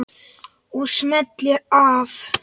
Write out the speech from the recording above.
Og smellir af.